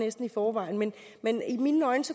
i forvejen men i mine øjne